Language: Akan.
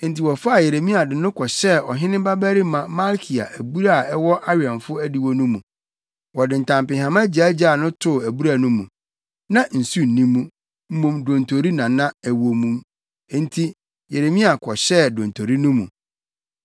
Enti wɔfaa Yeremia de no kɔhyɛɛ ɔhene babarima Malkia abura a ɛwɔ awɛmfo adiwo no mu. Wɔde ntampehama gyaagyaa no too abura no mu; na nsu nni mu, mmom dontori na na ɛwɔ mu, enti Yeremia kɔhyɛɛ dontori no mu.